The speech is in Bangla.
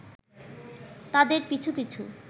তাদের পিছু পিছু